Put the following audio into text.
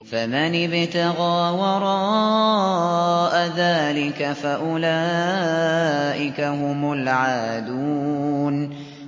فَمَنِ ابْتَغَىٰ وَرَاءَ ذَٰلِكَ فَأُولَٰئِكَ هُمُ الْعَادُونَ